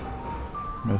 með